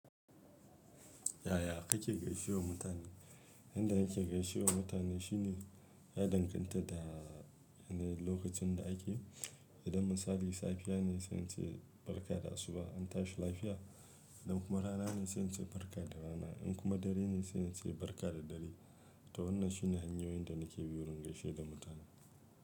Yaya kake gaishe wa mutane? Inda nake gaishe wa mutane shine ya danganta da yanayin lokacin da ake. Idan misali safiya ne sai ince barka da asuba an tashi lafiya. Idan kuma rana ne sai ince barka da rana. In kuma dare ne sanya ce barka da dare. To wannan shine hanyoyin da nake bi wurin gaishe da mutane.